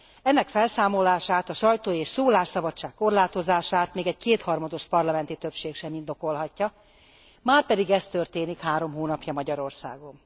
Ennek felszámolását, a sajtó és szólásszabadság korlátozását még egy kétharmados parlamenti többség sem indokolhatja, márpedig ez történik három hónapja Magyarországon.